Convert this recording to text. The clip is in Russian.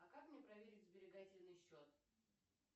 а как мне проверить сберегательный счет